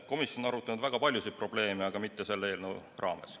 Komisjon on arutanud väga paljusid probleeme, aga mitte selle eelnõu raames.